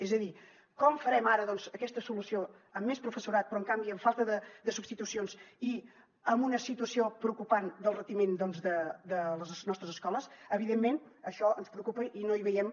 és a dir com farem ara doncs aquesta solució amb més professorat però en canvi amb falta de substitucions i amb una situació preocupant del retiment doncs de les nostres escoles evidentment això ens preocupa i no hi veiem